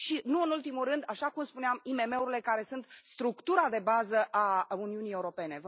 Și, nu în ultimul rând, așa cum spuneam, IMM urile, care sunt structura de bază a Uniunii Europene.